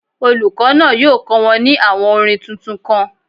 Olùkọ́ náà yóò kọ́ wọn ní àwọn orin tuntun kan.